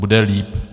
Bude líp.